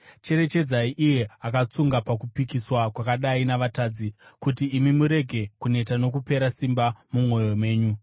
Cherechedzai iye akatsunga pakupikiswa kwakadai navatadzi, kuti imi murege kuneta nokupera simba mumwoyo menyu.